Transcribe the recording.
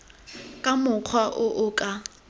ka mokgwa o o ka